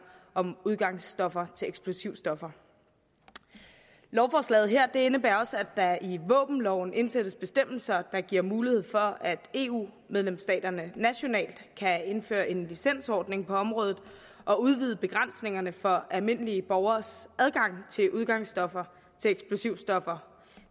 om udgangsstoffer til eksplosivstoffer lovforslaget her indebærer også at der i våbenloven indsættes bestemmelser der giver mulighed for at eu medlemsstaterne nationalt kan indføre en licensordning på området og udvide begrænsningerne for almindelige borgeres adgang til udgangsstoffer til eksplosivstoffer